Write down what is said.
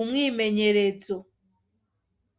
umwimenyerezo.